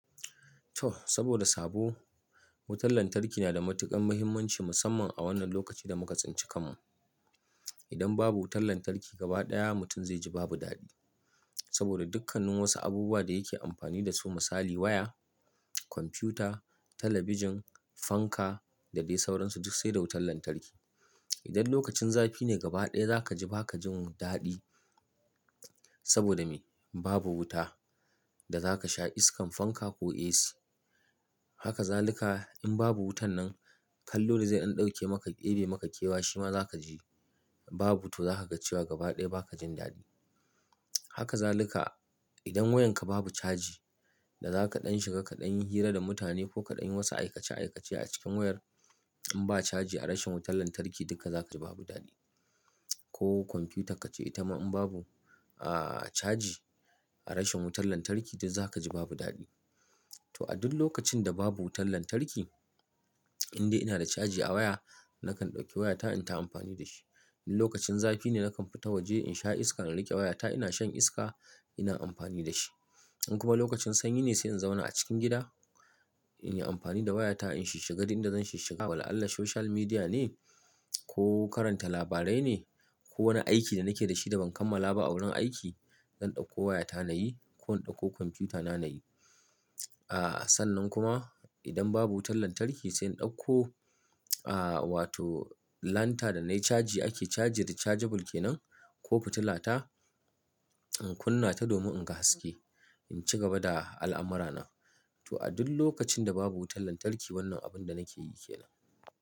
To saboda sabo, wutar lantarki na da matuƙar muhimmanci musamman a wannan lokaci da muka tsinci kanmu. Idan babu wutar lantarki gaba ɗaya mutum zai ji babu daɗi. Saboda dukkanin wasu abubuwa da yake amfani da su misali waya, kwamfuta, talabijin, fanka da dai sauransu duk sai da wutar lantarki. Idan lokacin zafi ne gaba ɗaya zaka ji baka jin daɗi saboda me? Babu wuta da zaka sha iskan fanka ko AC. Haka zalika in babu wutar nan kallo da zai an ɗauke maka, ebe maka kewa shima zaka ji babu to zaka ga cewa gaba ɗaya ba ka jin daɗi. Haka zalika idan wayarka babu caji da zaka ɗan shiga kaɗan yi hira da mutane ko kaɗan yi wasu aikace aikace a cikin wayar in ba caji a rashin wutar lantarki duka zaka ji babu daɗi. Ko kwamfutar kace ita ma in babu aaa caji a rashin wutar lantarki duk zaka ji babu daɗi. To a duk lokacin da babu wutar lantarki, in dai ina da caji a waya nakan ɗauki wayata in ta amfani da shi. In lokacin zafi ne nakan fita waje in sha iska na rike wayata ina shan iska ina amfani da shi. In kuma lokacin sanyi ne sai in zauna a cikin gida in yi amfani da wayata in shishiga duk inda zan shiga. Wala'alla social media ne ko karanta labarai ne ko wani aiki da nake da shi da ban kammala ba a wurin aiki. Zan ɗauko wayata na yi ko in ɗauko kwamfutana na yi. Aaa sannan kuma idan babu wutar lantarki sai in ɗauko aaa wato lanta da na yi caji ake caji rechargeable kenan ko fitilata in kunna ta domin in ga haske in ci gaba da al'amurana. To a duk lokacin da babu wutar lantarki wannan abun da nake yi kenan.